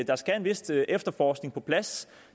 der skal en vis efterforskning på plads